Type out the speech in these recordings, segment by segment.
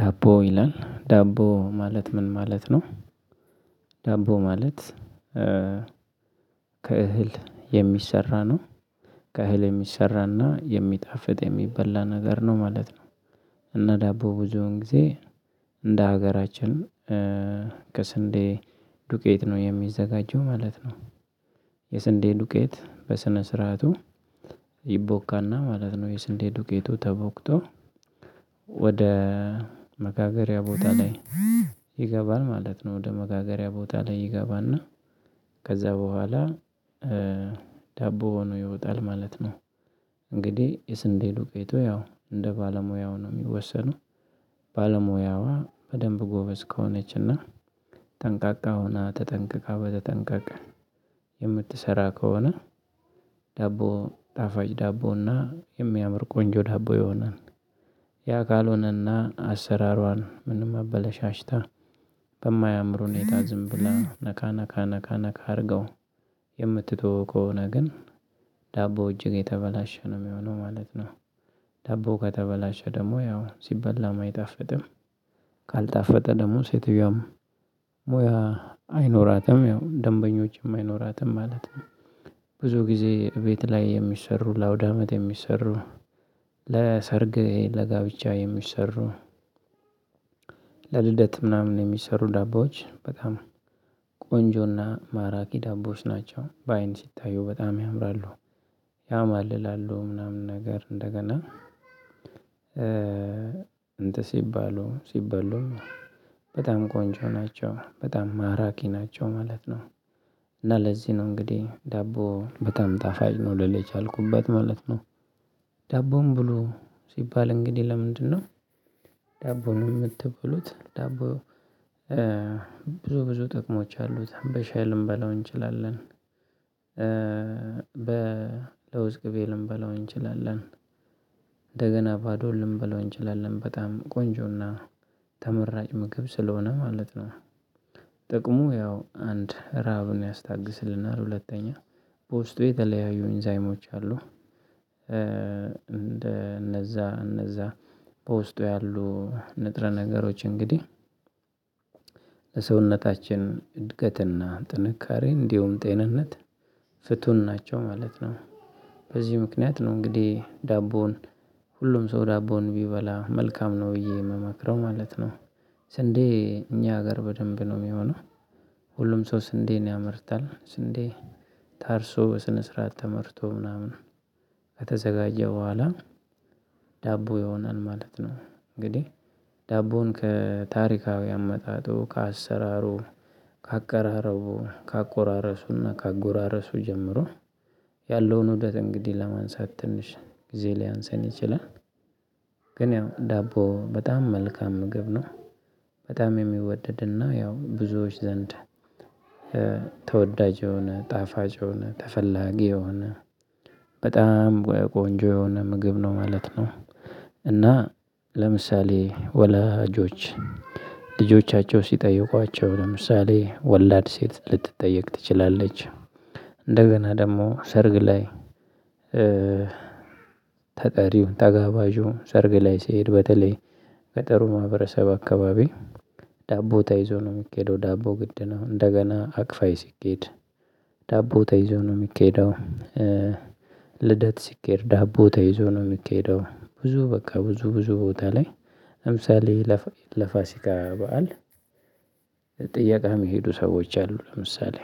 ዳቦ ይላል ዳቦ ማለት ምን ማለት ነው? ዳቦ ማለት ከእህል የሚሰራ ነው። ከእህል የሚሰራና የሚጣፍጥ የሚበላ ነገር ነው ማለት ነው። እና ዳቦ ብዙን ጊዜ እንደ ሀገራችን ከስንዴ ዱቄት ነው የሚዘጋጀው ማለት ነው። የስንዴ ዱቄት በስነ ስርዓቱ ይቦካና ማለት ነው የስንዴ ዱቄቱ ተቦክቶ። ወደ መጋገሪያ ቦታ ላይ ይገባል ማለት ነው። ወደ መጋገሪያ ቦታ ይገባና ከዛ በኋላ ዳቦ ሆኖ ይወጣል ማለት ነው። እንግዲህ የስንዴ ዱቄት ያው እንደ ባለሙያው ነው የሚወሰነው። ባለሙያዋ በደንብ ጎበዝ ከሆነችና ጠንቃቃ ሆና ተጠንቅቃ በተጠንቃቅ የምትሰራ ከሆነ። ዳቦ ጣፋጭ ዳቦና የሚያምር ቆንጆ ዳቦ የሆነን ያ ካልሆነና አሰራሯን ምንም አበለሻሽታ በማያምር ሁኔታ ዝም ብላ ነካ ነካ ነካ ነካ አድርገው የምትተው ከሆነ ግን ዳቦ እጅግ የተበላሸ ነው የሚሆነው ማለት ነው። ደቦ ከተበላሸ ደግሞ ያው ሲበላም አይጣፈጥም። ካልጣፈጠ ደግሞ ሴትዮም ሙያ አይኖራትም ያው ደንበኞችም አይኖራትም ማለት ነው። ብዙ ጊዜ ቤት ላይ የሚሰሩ ለአውዳመድ የሚሰሩ ለሰርግ ለጋብቻ የሚሰሩ ለልደት ምናምን የሚሰሩ ዳቦዎች በጣም ቆንጆና ማራኪ ዳቦዎች ናቸው በአይን ሲታዩ በጣም ያምራሉ። ያማልላሉ ምናምን ነገር እንደገና እንትስ ሲባሉ ሲበሉም በጣም ቆንጆ ናቸው በጣም ማራኪ ናቸው ማለት ነው። እና ለዚህ ነው እንግዲህ ዳቦ በጣም ጣፋጭ ነው ልል የቻልኩበት ማለት ነው። ዳቦም ብሎ ሲባል እንግዲህ ለምንድነው? ዳቦ ነው የምትበሉት ዳቦ? ብዙ ብዙ ጥቅሞች አሉት በሻይ ልንበላው እንችላለን። በለውዝ ቅቤ ልንበላው እንችላለን። እንደገና ባዶ ልንበላው እንችላለን በጣም ቆንጆና ተመራጭ ምግብ ስለሆነ ማለት ነው። ጥቅሙ ያው አንድ ረሃብን ያስታግስልናል ሁለተኛ በውስጡ የተለያዩ ኢንዛይሞች አሉ። እንደ እነዛ እነዛ በውስጡ ያሉ ንጥረ ነገሮች እንግዲህ ለሰውነታችን እድገትና ጥንካሬ እንዲሁም ጤንነት ፍቱን ናቸው ማለት ነው። በዚህ ምክንያት ነው እንግዲህ ዳቦውን ሁሉም ሰው ዳቦውን ቢበላ መልካም ነው ብዬ የምመክረው ማለት ነው። ስንዴ እኛ ሀገር በደንብ ነው የሚሆነው። ሁሉም ሰው ስንዴን ያመርታል ስንዴ ታርሶ በስነ ስርዓት ተመርቶ ምናምን ከተዘጋጀው በኋላ ዳቦ ይሆናል ማለት ነው። እንግዲህ ዳቦውን ከታሪካዊ አመጣጡ ከአሰራሩ ከአቀራረቡ ከአቆራረሱና ከአጎራረሱ ጀምሮ ያለውን ወደት እንግዲህ ለማንሳት ትንሽ ጊዜ ሊያንስን ይችላል። ግን ያው ዳቦ በጣም መልካም ምግብ ነው። በጣም የሚወደድና ያው ብዙዎች ዘንድ ተወዳጅ የሆነ ጣፋጅ የሆነ ተፈላጊ የሆነ በጣም ቆንጆ የሆነ ምግብ ነው ማለት ነው። እና ለምሳሌ ወላጆች ልጆቻቸው ሲጠይቋቸው ለምሳሌ ወላድ ሴት ልትጠየቅ ትችላለች። እንደገና ደግሞ ሰርግ ላይ ተጠሪው ተጋባዡ ሰርግ ላይ ስሄድ በተለይ በጥሩ ማህበረሰብ አካባቢ ዳቦ ተይዞ ነው የሚኬደው ዳቦ ግድ ነው እንደገና አቅፋይ ሲኬድ ዳቦ ተይዞ ነው የሚኬደው። ልደት ሲኬድ ዳቦ ተይዞ ነው የሚካሄደው ብዙ በቃ ብዙ ብዙ ቦታ ላይ ለምሳሌ ለፋሲካ በዓል ጥያቃ የሚሄዱ ሰዎች አሉ ለምሳሌ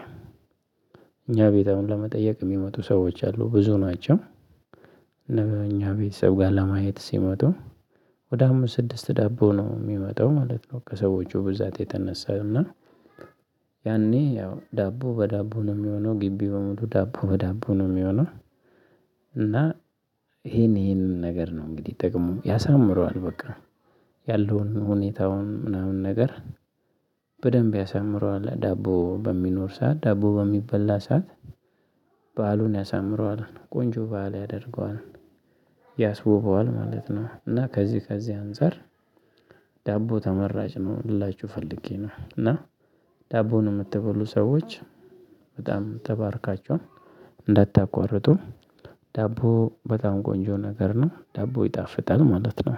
እኛ ቤት አሁን ለመጠየቅ የሚመጡ ሰዎች አሉ ብዙ ናቸው። እኛ ቤተሰብ ጋር ለማየት ሲመጡ ወደ አምስት ስድስት ዳቦ ነው የሚመጣው ማለት ነው ከሰዎቹ ብዛት የተነሳ እና ያኔ ያው ዳቦ በዳቦ ነው የሚሆነው ግቢ በሙሉ ዳቦ በዳቦ ነው የሚሆነው። እና ይሄንን ነገር ነው እንግዲህ ጠቅሙ ያሳምረዋል በቃ ያለውን ሁኔታውን ምናምን ነገር በደንብ ያሳምረዋል ዳቦ በሚኖር ሰዓት ዳቦ በሚበላ ሰዓት በዓሉን ያሳምረዋል ቆንጆ ባል ያደርገዋል። ማለት ነው እና ከዚህ ከዚህ አንፃር ዳቦ ተመራጭ ነው ልላችሁ ፈልጌ ነው። እና ዳቦን የምትበሉ ሰዎች በጣም ተባርካችዋል። እንዳታቋርጡ ዳቦ በጣም ቆንጆ ነገር ነው ዳቦ ይጣፍጣል ማለት ነው